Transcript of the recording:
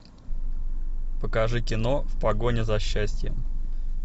покажи кино в погоне за счастьем